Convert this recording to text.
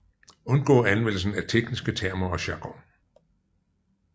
Undgå anvendelsen af tekniske termer og jargon